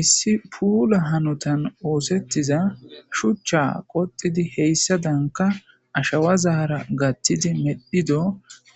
issi puula hanutan oosettiza shuchcha qoxidi heyssa danka ashawa zahara gattidi medhido